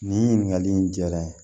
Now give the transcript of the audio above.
Nin ɲininkakali in jara n ye